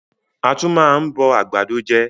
A tún máa ń bọ àgbàdo je